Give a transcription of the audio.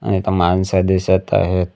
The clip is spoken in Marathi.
आणि इथं माणसं दिसत आहेत.